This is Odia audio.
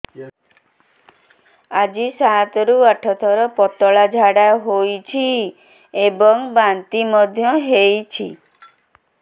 ଆଜି ସାତରୁ ଆଠ ଥର ପତଳା ଝାଡ଼ା ହୋଇଛି ଏବଂ ବାନ୍ତି ମଧ୍ୟ ହେଇଛି